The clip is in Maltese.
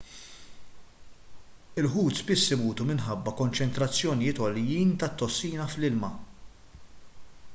il-ħut spiss imutu minħabba konċentrazzjonijiet għoljin tat-tossina fl-ilma